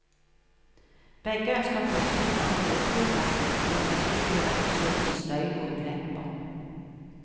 Begge ønsker flytting av hovedflyplassen og en betydelig reduksjon i støy og ulemper.